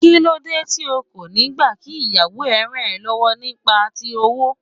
Kíló dé tí o kò niì gbà kí ìyàwó ẹ ràn ọ́ lọ́wọ́ nípa ti owó?